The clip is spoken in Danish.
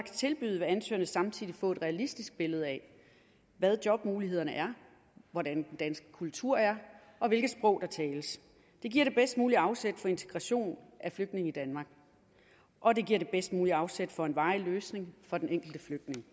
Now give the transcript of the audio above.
tilbyde vil ansøgerne samtidig får et realistisk billede af hvad jobmulighederne er hvordan den danske kultur er og hvilke sprog der tales det giver det bedst mulige afsæt for integration af flygtninge i danmark og det giver det bedst mulige afsæt for en varig løsning for den enkelte flygtning